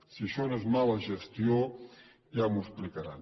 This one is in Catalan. si això no és mala gestió ja m’ho explicaran